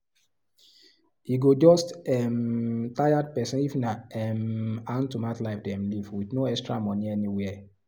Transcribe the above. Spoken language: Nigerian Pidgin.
e go just um tired person if nah um hand to mouth life dem live with no extra money anywhere